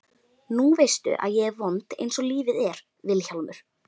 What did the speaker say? Nú veistu að ég er vond einsog lífið er Vilhjálmur.